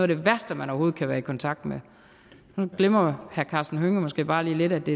det værste man overhovedet kan være i kontakt med nu glemmer herre karsten hønge måske bare lige lidt at det